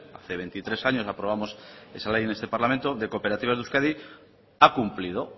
hace veintitrés años aprobamos esa ley en este parlamento de cooperativas de euskadi ha cumplido